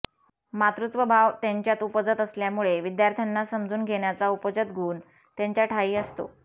मातृत्वभाव त्यांच्यात उपजतच असल्यामुळे विद्यार्थ्यांना समजून घेण्याचा उपजत गुण त्यांच्याठायी असतो